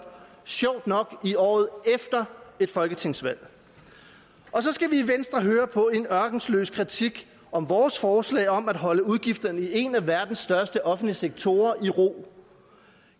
sjovt nok i året efter et folketingsvalg og så skal vi i venstre høre på en ørkesløs kritik af vores forslag om at holde udgifterne i en af verdens største offentlige sektorer i ro